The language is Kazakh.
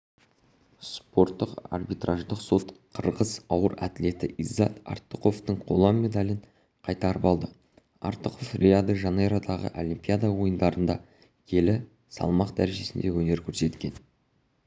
спорттық арбитраждық сот қырғыз ауыр атлеті иззат артықовтың қола медалін қайтарып алды артықов рио-де-жанейродағы олимпиада ойындарында келі салмақ дәрежесінде өнер көрсеткен